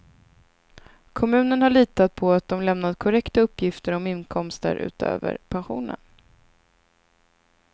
Kommunen har litat på att de lämnat korrekta uppgifter om inkomster utöver pensionen.